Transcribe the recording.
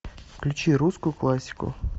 включи русскую классику